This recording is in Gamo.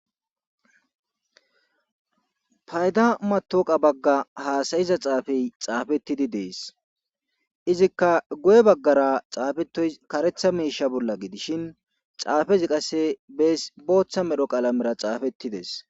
payda matoqa bagga haasayiza xaafey xaafettidi dees izikka goye baggara xaafetoy karetha miisha bolla gidishin xaafezi qasse bees booththa medho qaalamera xaafettides